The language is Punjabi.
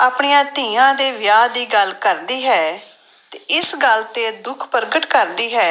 ਆਪਣੀਆਂ ਧੀਆਂ ਦੇ ਵਿਆਹ ਦੀ ਗੱਲ ਕਰਦੀ ਹੈ ਤੇ ਇਸ ਗੱਲ ਤੇ ਦੁੱਖ ਪ੍ਰਗਟ ਕਰਦੀ ਹੈ